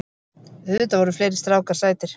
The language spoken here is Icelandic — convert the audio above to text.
Auðvitað voru fleiri strákar sætir.